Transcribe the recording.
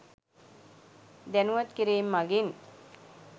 දැණුවත් කිරීම් මගින්